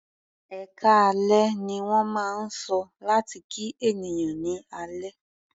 "Ẹkáalẹ́" ní wọ́n máa ń sọ láti kí ènìyàn ní alẹ́.